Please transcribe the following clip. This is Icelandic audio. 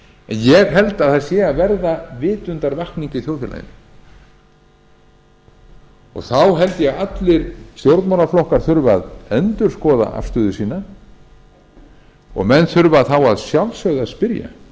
ég held að það sé að verða vitundarvakning í þjóðfélaginu og þá held ég að allir stjórnmálaflokkar þurfi að endurskoða afstöðu sína og menn þurfa þá að sjálfsögðu að spyrja